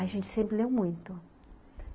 A gente sempre leu muito.